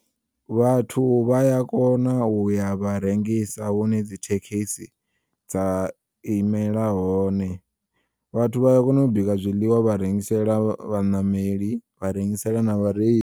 Vhathu vhaya kona uya vha rengisa hune dzithekisi dza imela hone, vhathu vhaya kona u bika zwiḽiwa vha rengisela vha ṋameli, vha rengisela na vhareili.